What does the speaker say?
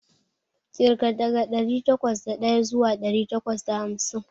Ƙirga daga ɗari takwas da ɗaya zuwa ɗari takwas da hamsin.